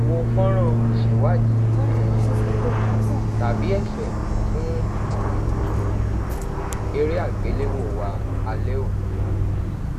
wo fọnran iṣẹiwadii um tabi ẹfẹ fun um ere agbelewo wa alẹ oni